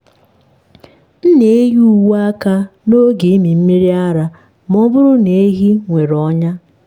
m na-eyi uwe aka n’oge ịmị mmiri ara ma ọ bụrụ na ehi nwere ọnya.